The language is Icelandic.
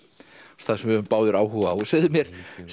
stað sem við höfum báðir áhuga á segðu mér